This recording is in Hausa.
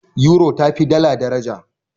Yuro tafi dala daraja.